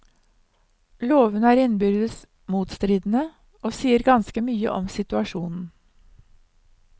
Lovene er innbyrdes motstridende, og sier ganske mye om situasjonen.